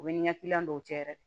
U bɛ ni ɲɛ dɔw cɛ yɛrɛ